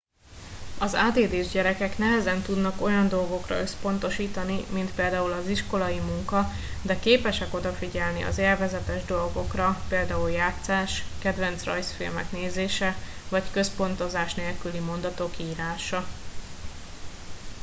az add s gyerekek nehezen tudnak olyan dolgokra összpontosítani mint például az iskolai munka de képesek odafigyelni az élvezetes dolgokra például játszás kedvenc rajzfilmek nézése vagy központozás nélküli mondatok írása